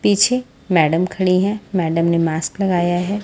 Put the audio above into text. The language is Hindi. पीछे मैडम खड़ी हैं मैडम ने मास्क लगाया है।